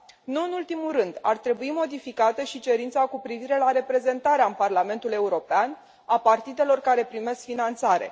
Nu în ultimul rând, ar trebui modificată și cerința cu privire la reprezentarea în Parlamentul European a partidelor care primesc finanțare.